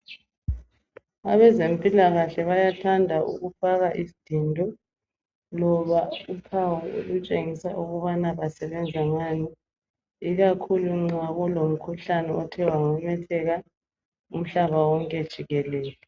Abezempilakahle bayathanda ukufaka isdindo loba uphawu olutshengisa ukubana basebenza ngani ikakhulu nxa kulomkhuhlane othe wamemetheka umhlaba wonke jikelele.